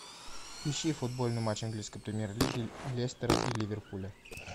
ищи футбольный матч английской премьер лиги лестера и ливерпуля